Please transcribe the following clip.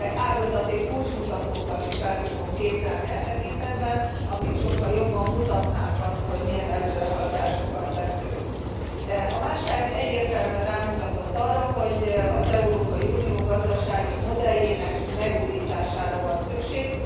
Ágazati kulcsmutatókat is el tudunk képzelni e tekintetben, amelyek sokkal jobban mutatnák azt, hogy milyen előrehaladásokat tettünk. A válság egyértelműen rámutatott arra, hogy az Európai Unió gazdasági modelljének megújítására van szükség.